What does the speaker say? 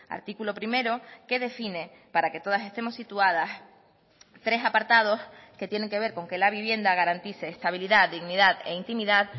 artículo primero que define para que todas estemos situadas tres apartados que tienen que ver con que la vivienda garantice estabilidad dignidad e intimidad